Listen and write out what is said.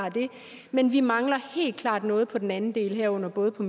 men vi mangler helt klart noget på den anden del herunder både på